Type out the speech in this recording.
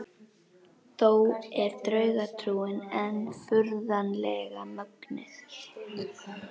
Þó er draugatrúin enn furðanlega mögnuð.